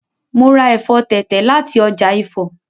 Mo ra ẹ̀fọ́ tẹ̀tẹ̀ láti ọjà Ifọ̀